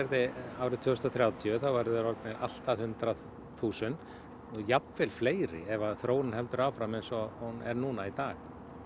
árið tvö þúsund og þrjátíu verði þeir orðnir allt að hundrað þúsund og jafnvel fleiri ef þróunin heldur áfram eins og hún er núna í dag